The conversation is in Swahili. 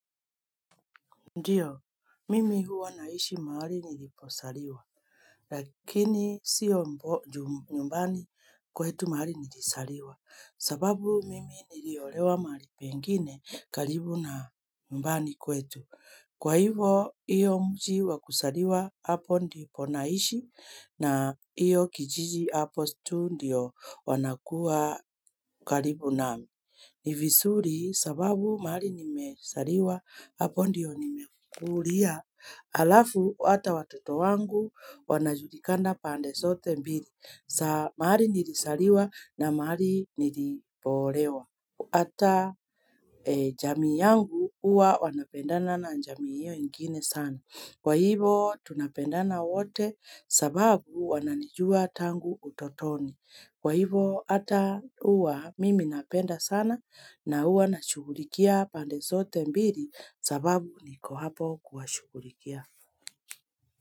Ndiyo, mimi huwa naishi mahali nilipozaliwa, lakini sio nyumbani kwetu mahali nilizaliwa, sababu mimi niliolewa mahali pengine karibu na nyumbani kwetu. Kwa hivyo, hiyo mji wa kuzaliwa, hapo ndipo naishi, na hiyo kijiji hapo tu ndio wanakuwa karibu nami. Ni vizuri sababu mahali nimezaliwa hapo ndio nimekulia Alafu hata watoto wangu wanajulikana pande zote mbili za mahali nilizaliwa na mahali nilipoolewa Hata jamii yangu huwa wanapendana na jamii hiyo ingine sana Kwa hivyo tunapendana wote sababu wananijua tangu utotoni Kwa hivyo hata huwa mimi napenda sana na huwa na shughulikia pande zote mbili sababu niko hapo kuwashughulikia.